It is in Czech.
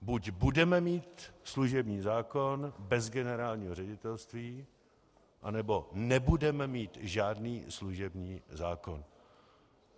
Buď budeme mít služební zákon bez generálního ředitelství, anebo nebudeme mít žádný služební zákon.